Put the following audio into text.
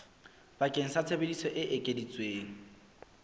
bakeng sa tsebiso e ekeditsweng